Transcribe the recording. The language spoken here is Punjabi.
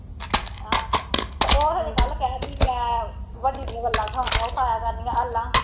ਹਾਂ ਅਤੇ ਉਹ ਹਜੇ ਕੱਲ੍ਹ ਕਹਿਣ ਡੇਈ ਸੀ ਮੈਂ ਵੱਡੀ ਦੀਆਂ ਗੱਲਾਂ ਕਰਨੀਆਂ ਗੱਲਾਂ